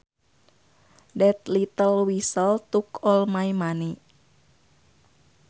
That little weasel took all my money